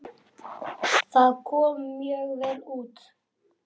Það kom mjög vel út.